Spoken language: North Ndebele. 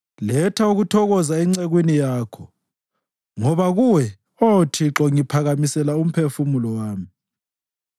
Letha ukuthokoza encekwini yakho, ngoba kuwe, Oh Thixo, ngiphakamisela umphefumulo wami.